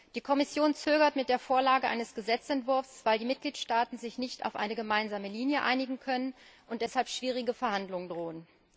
Die Kommission zögert mit der Vorlage eines Gesetzentwurfs, weil sich die Mitgliedstaaten nicht auf eine gemeinsame Linie einigen können und deshalb schwierige Verhandlungen drohen.